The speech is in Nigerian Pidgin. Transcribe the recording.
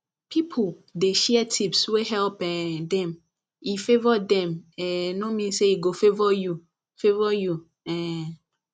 people dey share tips wey help um them e favour them um no mean say e go favour you favour you um